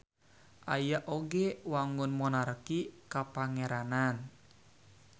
Aya oge wangun monarki kapangeranan.